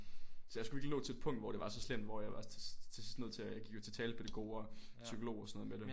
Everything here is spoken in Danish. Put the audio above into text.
Så jeg skulle virkelig nå til en punkt hvor det var så slemt hvor jeg var til til sidst nødt til jeg gik jo til talepædagog og psykolog og sådan noget med det